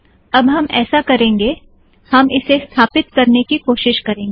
अब हम ऐसा करेंगे हम इसे स्थापित करने की कोशीश करेंगे